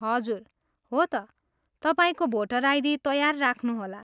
हजुर, हो त। तपाईँको भोटर आइडी तयार राख्नुहोला।